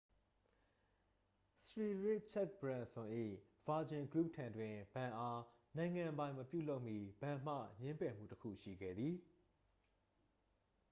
စရီရစ်ချက်တ်ဘရန်စွန် ၏ virgin group ထံတွင် ဘဏ်အား နိုင်ငံပိုင်မပြုလုပ်မီ ဘဏ်မှ ငြင်းပယ်မှုတစ်ခုရှိခဲ့သည်